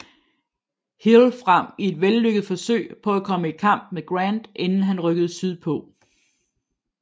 Hill frem i et vellykket forsøg på at komme i kamp med Grant inden han rykkede sydpå